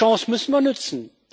Diese Chance müssen wir nutzen.